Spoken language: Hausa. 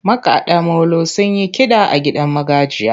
Makaɗa molo sun yi kiɗa a gidan magajiya.